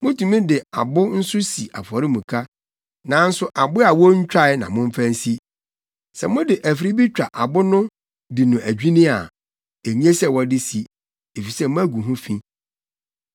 Mutumi de abo nso si afɔremuka, nanso abo a wontwae na momfa nsi. Sɛ mode afiri bi twa abo no di no adwinni a, enye sɛ wɔde si, efisɛ moagu ho fi.